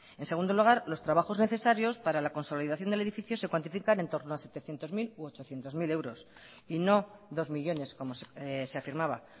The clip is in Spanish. en segundo lugar los trabajos necesarios para la consolidación del edificio se cuantifican entorno a setecientos mil u ochocientos mil euros y no dos millónes como se afirmaba